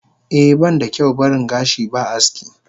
Eh banda kyau baring gashi ba aski.